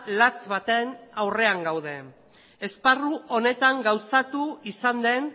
latz baten aurrean gaude esparru honetan gauzatu izan den